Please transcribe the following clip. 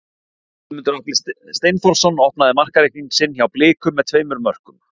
Guðmundur Atli Steinþórsson opnaði markareikning sinn hjá Blikum með tveimur mörkum.